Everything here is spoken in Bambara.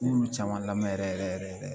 N b'olu caman lamɛn yɛrɛ yɛrɛ de